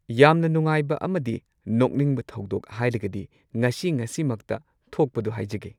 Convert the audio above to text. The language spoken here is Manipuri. ꯌꯥꯝꯅ ꯅꯨꯉꯥꯏꯕ ꯑꯃꯗꯤ ꯅꯣꯛꯅꯤꯡꯕ ꯊꯧꯗꯣꯛ ꯍꯥꯏꯔꯒꯗꯤ ꯉꯁꯤ ꯉꯁꯤꯃꯛꯇ ꯊꯣꯛꯄꯗꯨ ꯍꯥꯏꯖꯒꯦ꯫